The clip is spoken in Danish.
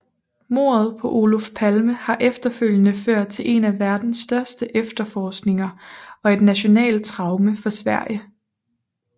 Mordet på Olof Palme har efterfølgende ført til en af verdens største efterforskninger og til et nationalt traume for Sverige